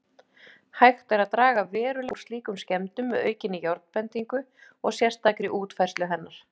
Hægt er að draga verulega úr slíkum skemmdum með aukinni járnbendingu og sérstakri útfærslu hennar.